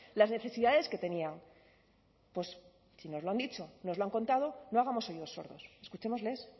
las necesidades que tenían pues si nos lo han dicho nos lo han contado no hagamos oídos sordos escuchémosles